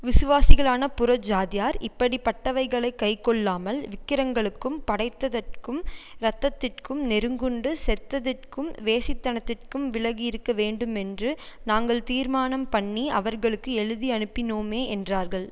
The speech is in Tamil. விசுவாசிகளான புறஜாதியார் இப்படிப்பட்டவைகளைக் கைக்கொள்ளாமல் விக்கிரங்களுக்கும் படைத்ததற்கும் இரத்தத்திற்கும் நெருங்குண்டு செத்ததிற்கும் வேசித்தனத்திற்கும் விலகியிருக்கவேண்டுமென்று நாங்கள் தீர்மானம்பண்ணி அவர்களுக்கு எழுதியனுப்பினோமே என்றார்கள்